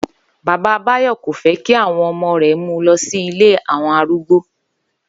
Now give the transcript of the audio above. Bàbá Báyò̩ kò fé̩ kí àwo̩n re̩ mu lo̩ sí ilé àwo̩n arúgbó